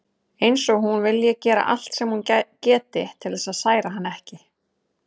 Eins og hún vilji gera allt sem hún geti til þess að særa hann ekki.